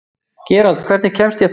Gerald, hvernig kemst ég þangað?